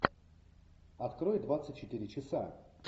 открой двадцать четыре часа